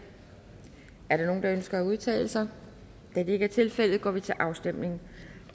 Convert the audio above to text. er der nogen der ønsker at udtale sig da det ikke er tilfældet går vi til afstemning